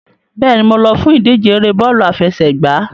Bẹ́ẹ̀ni, mo lọ fún ìdíje ère bọ́ọ̀lù àfẹsẹ̀gbá.